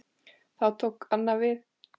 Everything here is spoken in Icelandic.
Þá tók annað við.